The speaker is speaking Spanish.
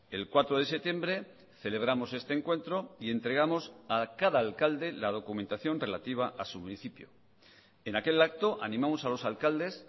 el cuatro de septiembre celebramos este encuentro y entregamos a cada alcalde la documentación relativa a su municipio en aquel acto animamos a los alcaldes